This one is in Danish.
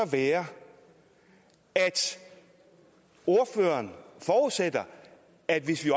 være at ordføreren forudsætter at hvis vi